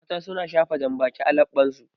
Mata su na shafa janbaki a laɓɓan su